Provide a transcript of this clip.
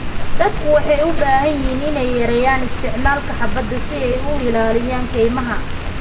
Dadku waxay u baahan yihiin inay yareeyaan isticmaalka xaabada si ay u ilaaliyaan kaymaha.